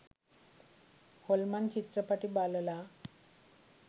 හොල්මන් චිත්‍රපටි බලලා